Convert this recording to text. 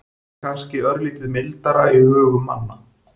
Það er kannski örlítið mildara í hugum manna.